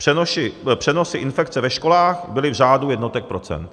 Přenosy infekce ve školách byly v řádu jednotek procent.